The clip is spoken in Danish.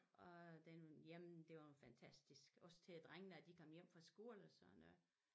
Og den jamen det var en fantastisk også til drengene da de kom hjem fra skole og sådan noget